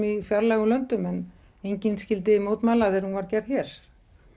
í fjarlægum löndum en enginn skyldi mótmæla þegar hún var gerð hér